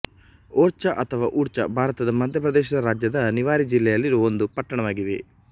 ಓರ್ಛಾ ಅಥವಾ ಊರ್ಛಾ ಭಾರತದ ಮಧ್ಯ ಪ್ರದೇಶ ರಾಜ್ಯದ ನಿವಾರಿ ಜಿಲ್ಲೆಯಲ್ಲಿರುವ ಒಂದು ಪಟ್ಟಣವಾಗಿದೆ